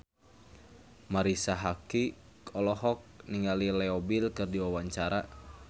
Marisa Haque olohok ningali Leo Bill keur diwawancara